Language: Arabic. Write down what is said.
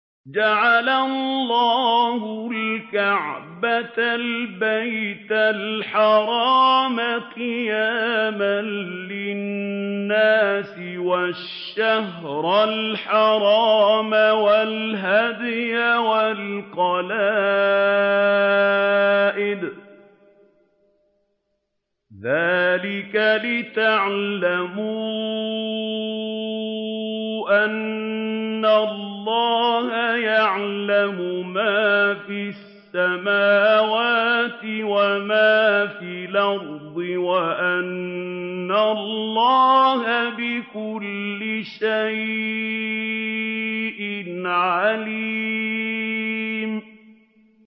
۞ جَعَلَ اللَّهُ الْكَعْبَةَ الْبَيْتَ الْحَرَامَ قِيَامًا لِّلنَّاسِ وَالشَّهْرَ الْحَرَامَ وَالْهَدْيَ وَالْقَلَائِدَ ۚ ذَٰلِكَ لِتَعْلَمُوا أَنَّ اللَّهَ يَعْلَمُ مَا فِي السَّمَاوَاتِ وَمَا فِي الْأَرْضِ وَأَنَّ اللَّهَ بِكُلِّ شَيْءٍ عَلِيمٌ